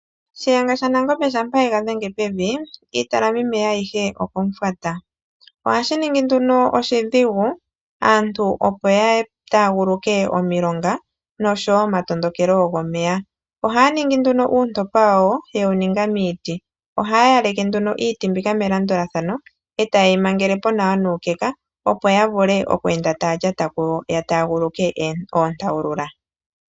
Shiyenga shaNangombe shampa ye ga dhenge pevi, iitalamimeya ayihe okomufwata. Ohashi ningi nduno oshidhigu, aantu opo ya taaguluke omilonga, nosho wo omatondokelo gomeya. Ohaya ningi nduno oontopa dhawo niiti. Ohaya yaleke iiti mbika melandulathano, e taye yi mangele po nawa nuukeka, opo ya vule okweenda taa lyata ko ya taaguluke oontawulula.